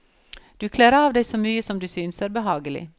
Du kler av deg så mye som du synes er behagelig.